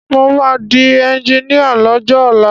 Mo máa di ẹnjiníà lọ́jọ́ ọ̀la.